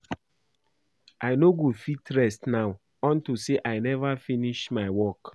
I no go fit rest now unto say I never finish my work